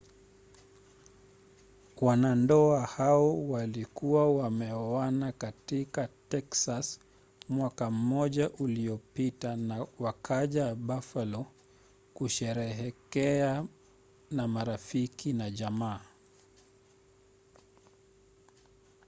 wanandoa hao walikuwa wameoana katika texas mwaka mmoja uliopita na wakaja buffalo kusherehekea na marafiki na jamaa